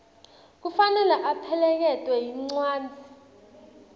kufanele apheleketelwe yincwadzi